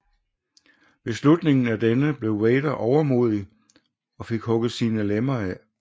Ved slutningen af denne blev Vader overmodig og fik hugget sine lemmer af